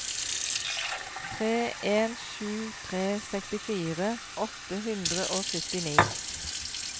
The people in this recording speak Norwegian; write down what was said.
tre en sju tre sekstifire åtte hundre og syttini